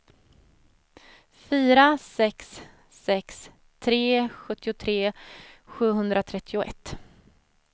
fyra sex sex tre sjuttiotre sjuhundratrettioett